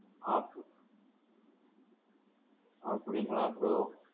ஆ. அப்படீங்களா bro?